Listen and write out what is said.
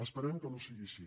esperem que no sigui així